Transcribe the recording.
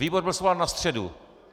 Výbor byl svolán na středu.